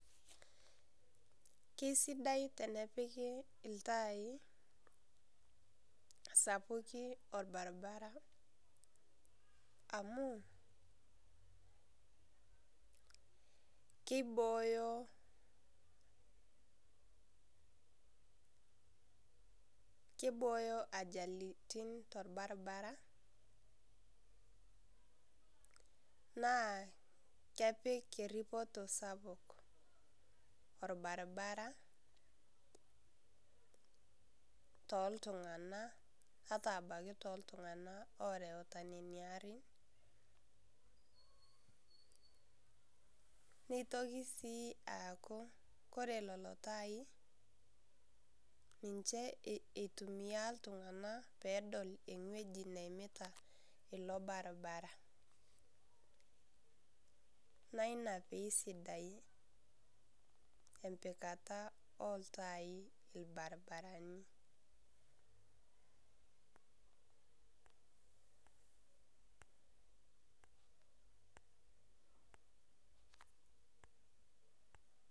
Kesidai tenepiki iltaai sapukin olbaribara. amu kibooyo , kibooyo ajalitin tolbaribara. naa kepik eripito sapuk olbaribara tooltunganak. ata ebaiki tooltunganak ooreuta Nens arin. neitoki sii aku ore nena arin ninche itumia iltunganak, pee edol ewueji neimitita ilo baribabara. ina pee esidai empikata olatai ilbarinarani.